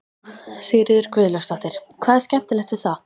Sigríður Guðlaugsdóttir: Hvað er skemmtilegt við það?